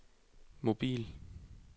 mobil